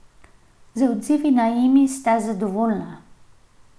Z odzivi na Emi sta zadovoljna.